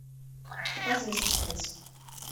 показывай саспенс